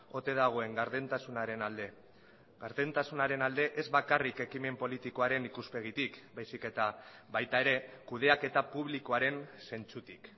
ote dagoen gardentasunaren alde gardentasunaren alde ez bakarrik ekimen politikoaren ikuspegitik baizik eta baita ere kudeaketa publikoaren zentzutik